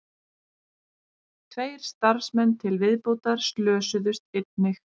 Tveir starfsmenn til viðbótar slösuðust einnig